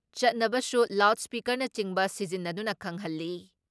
ꯆꯠꯅꯕꯁꯨ ꯂꯥꯎꯠ ꯏꯁꯄꯤꯀꯔꯅꯆꯤꯡꯕ ꯁꯤꯖꯤꯟꯅꯗꯨꯅ ꯈꯪꯍꯜꯂꯤ ꯫